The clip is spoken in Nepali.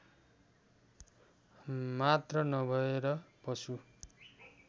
मात्र नभएर पशु